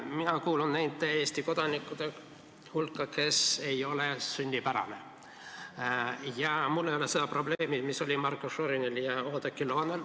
Mina kuulun nende Eesti kodanikkude hulka, kes ei ole sünnipärased, ja mul ei ole seda probleemi, mis oli Marko Šorinil ja Oudekki Loonel.